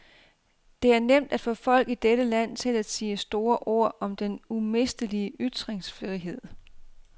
Det er nemt at få folk i dette land til at sige store ord om den umistelige ytringsfrihed.